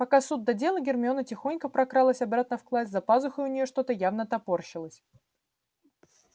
пока суд да дело гермиона тихонько прокралась обратно в класс за пазухой у неё что-то явно топорщилось